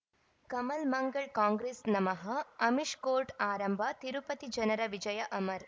ಕಮಲ್ ಮಂಗಳ್ ಕಾಂಗ್ರೆಸ್ ನಮಃ ಅಮಿಷ್ ಕೋರ್ಟ್ ಆರಂಭ ತಿರುಪತಿ ಜನರ ವಿಜಯ ಅಮರ್